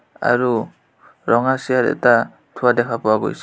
আৰু ৰঙা চিয়াৰ এটা থোৱা দেখা পোৱা গৈছে।